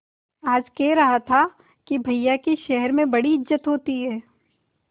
आज कह रहा था कि भैया की शहर में बड़ी इज्जत होती हैं